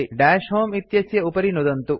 दश होमे इत्यस्य उपरि नुदन्तु